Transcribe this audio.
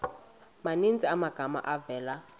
maninzi amagama avela